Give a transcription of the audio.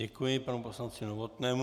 Děkuji panu poslanci Novotnému.